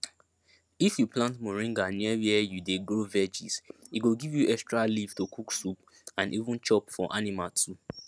if you plant moringa near where you dey grow veggies e go give you extra leaf to cook soup and even chop for animal too